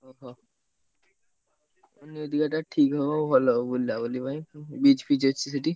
ଓହୋ! new ଦୀର୍ଘାଟା ଠିକ୍ ହବ ଭଲ ବୁଲାବୁଲି ପାଇଁ beach ଫିଚ୍ ଅଛି ସେଠି।